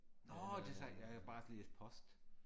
Nåh det så ja jeg bare læste post